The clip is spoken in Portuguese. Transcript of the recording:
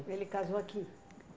Ele casou aqui?